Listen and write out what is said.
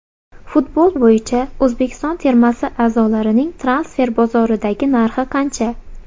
Futbol bo‘yicha O‘zbekiston termasi a’zolarining transfer bozoridagi narxi qancha?.